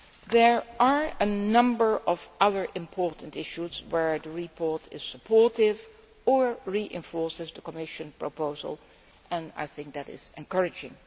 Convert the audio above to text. There are a number of other important issues where the report is supportive or reinforces the Commission proposal, and that is encouraging.